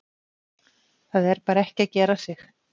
Það er bara ekki að gera sig.